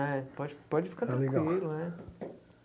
É, pode pode ficar tranquilo, é?